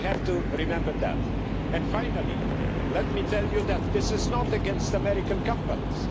we have to remember that. And finally, let me tell you that this is not against American companies.